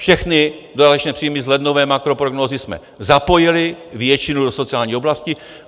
Všechny dodatečné příjmy z lednové makroprognózy jsme zapojili, většinu do sociální oblasti.